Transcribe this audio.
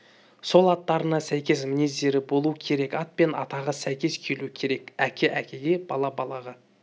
сол аттарына сәйкес мінездері болу керек ат пен атағы сәйкес келуі керек әке әкеге бала балаға